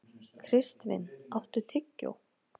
Kristvin, áttu tyggjó?